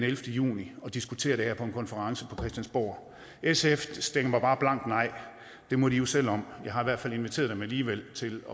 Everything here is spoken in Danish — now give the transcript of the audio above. juni og diskutere det her på en konference på christiansborg sf stemmer bare blankt nej det må de jo selv om jeg har i hvert fald inviteret dem alligevel til